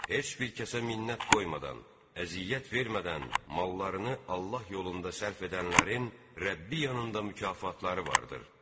Heç bir kəsə minnət qoymadan, əziyyət vermədən mallarını Allah yolunda sərf edənlərin Rəbbi yanında mükafatları vardır.